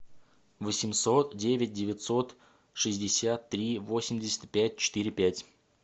восемьсот девять девятьсот шестьдесят три восемьдесят пять четыре пять